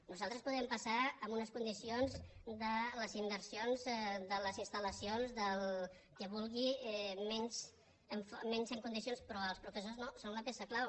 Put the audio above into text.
nosaltres podem passar amb unes condicions de les inversions de les instalgui menys en condicions però els professors no són la peça clau